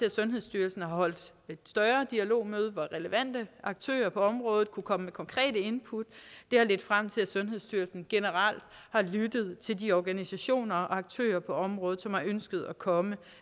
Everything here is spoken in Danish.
at sundhedsstyrelsen har holdt et større dialogmøde hvor relevante aktører på området kunne komme med konkrete input det har ledt frem til at sundhedsstyrelsen generelt har lyttet til de organisationer og aktører på området som har ønsket at komme